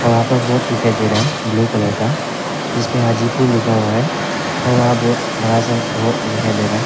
यहां पर बोर्ड दिखाई दे रहा है ब्लू कलर का जिसमें हाजीपुर लिखा हुआ है और वहां बहुत बड़ा से रोड दिखाई दे रहा है।